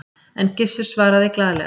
En Gissur svaraði glaðlega